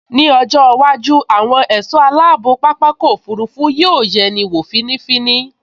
Ní ọjọ́ iwájú, àwọn ẹ̀ṣọ́ aláàbò pápákọ̀ òfurufú yóò yẹni wọ̀ fínífíní